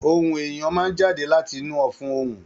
Ohùn èèyàn máa n jáde láti inú ọfun ohùn.